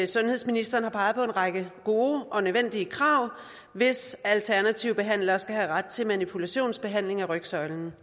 sundhedsministeren har peget på en række gode og nødvendige krav hvis alternative behandlere skal have ret til manipulationsbehandling af rygsøjlen